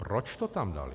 Proč to tam dali?